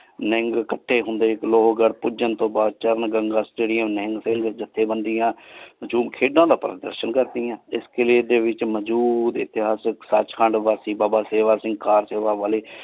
ਨਿਹੰਗ ਕਥੇ ਹੁੰਦੇ ਲੋਕ ਭੋਜਨ ਤੂ ਬਾਦ ਚਰਨ ਗੰਗਾ stadium ਨਿਹੰਗ ਜਥੇਬੰਦੀਆਂ ਖੇਡਾਂ ਦਾ ਬਾਰਾ ਅਸਰ ਕਰ੍ਦਿਯਾਂ ਇਸ ਕੀਲੇ ਦੇ ਵਿਚ ਮਜੂਦ ਇਤੇਹਾਸਿਕ ਸਚ੍ਕੰਦ ਵਾਸ੍ਟੀ ਬਾਬਾ ਸਿਵਾ ਸਿੰਘ ਕਰ।